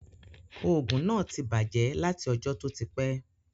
Òògùn náà ti bàjẹ́ láti ọjọ́ tó ti pẹ́